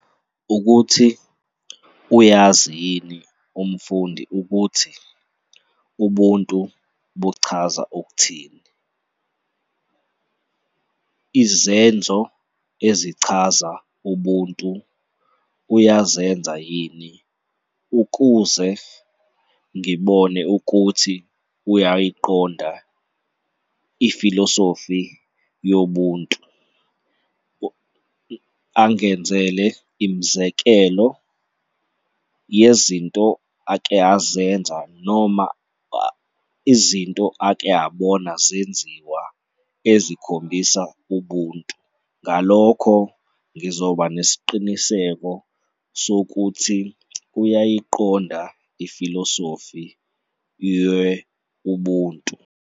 Ukuthi uyazi yini umfundi ukuthi ubuntu buchaza ukuthini, izenzo ezichaza ubuntu uyazenza yini ukuze ngibone ukuthi uyayiqonda ifilosofi yoBuntu, angenzele imizekelo yezinto ake azenza noma izinto ake abona zenziwa ezikhombisa ubuntu. Ngalokho ngizoba nesiqiniseko sokuthi uyayiqonda ifilosofi ye-Ubuntu.